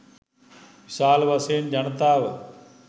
විශාල වශයෙන් ජනතාව